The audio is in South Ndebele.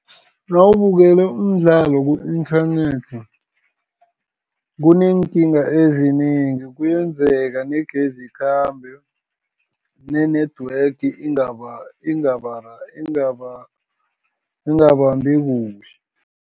Nawubukele umdlalo ku-inthanethi, kuneekinga ezinengi. Kuyenzeka negezi ikhambe, ne-network ingabambi kuhle.